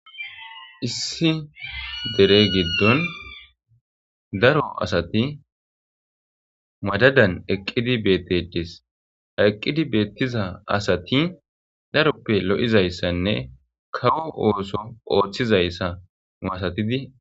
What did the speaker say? issi derey giddon daro asati madadan eqqidi beettedis eqqidi beettiza asati daroppe lo'izayssanne kawo ooso ooththizayssa masatidi...